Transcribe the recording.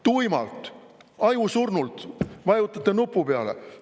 Tuimalt, ajusurnult vajutate nupu peale.